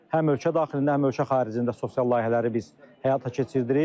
həm ölkə daxilində, həm ölkə xaricində sosial layihələri biz həyata keçiririk.